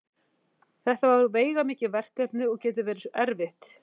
Þetta er veigamikið verkefni og getur verið erfitt.